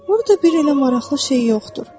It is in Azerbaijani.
Orada bir elə maraqlı şey yoxdur.